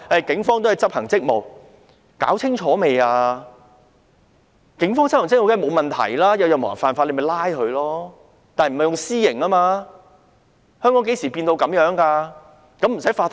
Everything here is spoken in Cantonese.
警方執行職務，當然沒有問題，任何人犯法皆應被拘捕，但他們不能動用私刑。